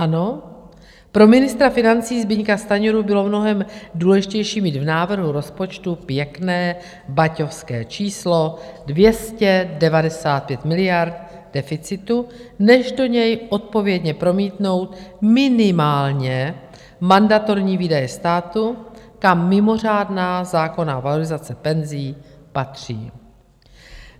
Ano, pro ministra financí Zbyňka Stanjuru bylo mnohem důležitější mít v návrhu rozpočtu pěkné baťovské číslo 295 miliard deficitu než do něj odpovědně promítnout minimálně mandatorní výdaje státu, kam mimořádná zákonná valorizace penzí patří.